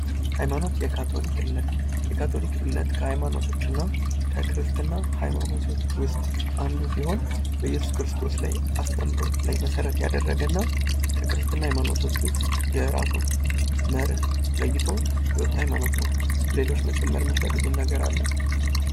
ሀይማኖት ፦ የካቶሊክ እምነት ፦ የካቶሊክ እምነት ከሃይማኖቶች እና ከክርስትና ሃይማኖቶች ውስጥ አንዱ ሲሆን በኢየሱስ ክርስቶስ ላይ አስተምሮት ላይ መሰረት ያደረገ እና ከክርስትና ሃይማኖቶች ውስጥ የራሱን መርህ ለይቶ የወጣ ሐይማኖት ነው ። ሌሎች መጨመር የሚፈልጉት ነገር አለ ?